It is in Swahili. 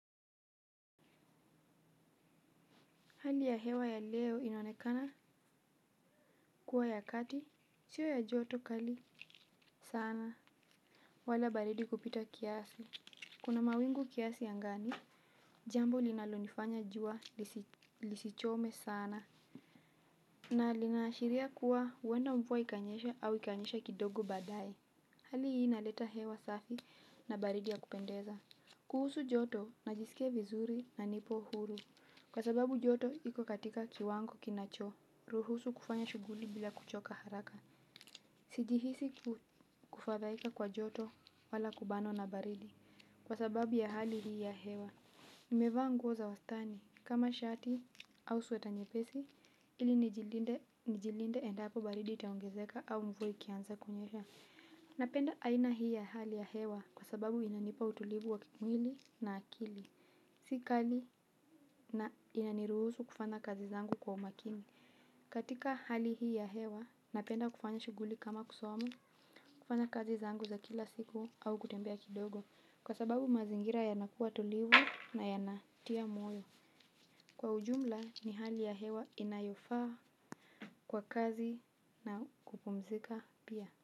Hali ya hewa ya leo inaonekana kuwa ya kati, sio ya joto kali sana. Wala baridi kupita kiasi. Kuna mawingu kiasi angani, jambo linalonifanya jua lisichome sana. Na linaashiria kuwa huenda mvua ikanyesha au ikanyesha kidogo baadaye. Hali hii inaleta hewa safi na baridi ya kupendeza. Kuhusu joto najisikia vizuri na nipo huru. Kwa sababu joto iko katika kiwango kinacho. Ruhusu kufanya shughuli bila kuchoka haraka. Sijihisi kufadhaika kwa joto wala kubanwa na baridi kwa sababu ya hali hii ya hewa. Nimevaa nguo za wastani kama shati au sweta nyepesi ili nijilinde endapo baridi itaongezeka au mvua ikianza kunyesha. Napenda aina hii ya hali ya hewa kwa sababu inanipa utulivu wa kimwili na akili. Si kali na inaniruhusu kufanya kazi zangu kwa umakini. Katika hali hii ya hewa, napenda kufanya shughuli kama kusoma, kufanya kazi zangu za kila siku au kutembea kidogo kwa sababu mazingira yanakuwa tulivu na yanatia moyo. Kwa ujumla ni hali ya hewa inayofaa kwa kazi na kupumzika pia.